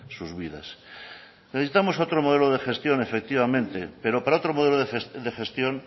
sus vidas necesitamos otro modelo de gestión efectivamente pero para otro modelo de gestión